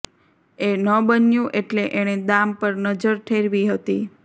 એ ન બન્યું એટલે એણે દામ પર નજર ઠેરવી હતી